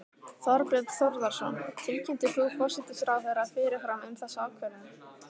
Þorbjörn Þórðarson: Tilkynntir þú forsætisráðherra fyrirfram um þessa ákvörðun?